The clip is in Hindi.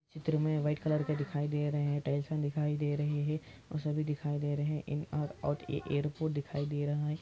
चैत्र में वाइट कलर की टाइल्स दिखाई दे रही है सभी दिखाई दे रहे हे और एयरपोर्ट दिखाए दे रहे हे |